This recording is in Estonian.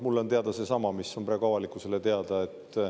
Mulle on teada seesama, mis on praegu avalikkusele teada.